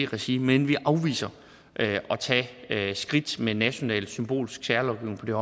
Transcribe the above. regi men vi afviser at tage skridt med national symbolsk særlovgivning på det